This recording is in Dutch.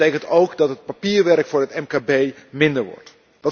Dat betekent ook dat het papierwerk voor het mkb minder wordt.